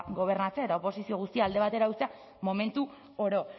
gobernatzea eta oposizio guztia alde batera uztea momentu oro